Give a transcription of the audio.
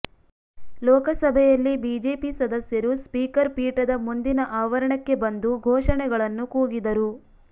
ಲೋಕಸಭೆಯಲ್ಲಿ ಬಿಜೆಪಿ ಸದಸ್ಯರು ಸ್ಪೀಕರ್ ಪೀಠದ ಮುಂದಿನ ಆವರಣಕ್ಕೆ ಬಂದು ಘೋಷಣೆಗಳನ್ನು ಕೂಗಿದರು